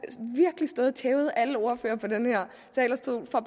virkelig stået og tævet alle ordførere fra den her talerstol for